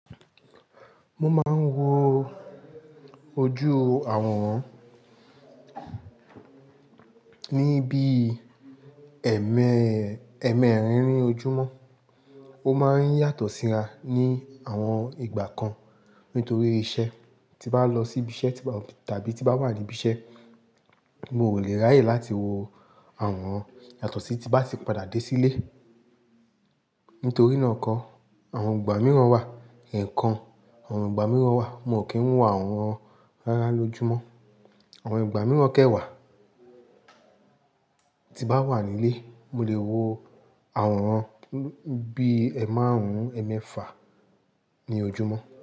Mo máa ń wo ojú àwòrán ní bí, ẹ́ẹ́mẹ́, ẹ́ẹ́mẹ́rin ní ojúmọ́. Ó máa ń yàtọ̀ síra ní àwọn ìgbà kan nítorí iṣẹ́. Tí bá lọ sí ibi iṣẹ́, tàbí tí bá wà ní ibi iṣẹ́, mo kò lè ráyè láti wo àwòrán yàtọ̀ sí tí bá ti padà dé sílé. Nítorí náà kọ, àwọn ìgbà mìíràn wà, ẹ̀ẹ̀kan, àwọn ìgbà mìíràn wà, mo kì í wo àwòrán rárá lójúmọ́. Àwọn ìgbà mìíràn kẹ́wàá, tí bá wà nílé, mo lè wo àwòrán bí i ẹ́ẹ̀màrún, ẹ́ẹ̀mẹ́fà ní ojúmọ́.